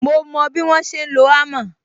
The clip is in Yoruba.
Mo mo bí wọ́n ṣe ń lo hammer